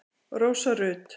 Rósa Rut.